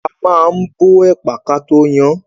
A máa ń bọ ẹ̀pà kató yan án.